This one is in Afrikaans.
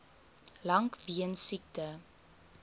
lank weens siekte